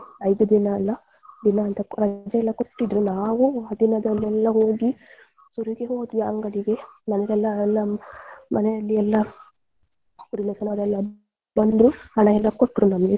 ಐದು ದಿನ ಅಲ್ಲ ದಿನ ಅಂತ ರಜೆ ಕೊಟ್ಟಿದ್ರು ನಾವು ಆ ದಿನದಲೆಲ್ಲ ಹೋಗಿ ಸುರು ಗೆ ಹೊದ್ವಿ ಅಂಗಡಿಗೆ ಮನೆಗೆಲ್ಲ ಎಲ್ಲ ಮನೆಯಲ್ಲಿ ಎಲ್ಲ ಬಂದ್ರು ಹಣಯೆಲ್ಲಾ ಕೊಟ್ರು ನಮ್ಗೆ.